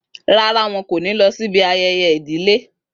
Rárá, wọn kò ní lọ sí ibi ayẹyẹ ìdílé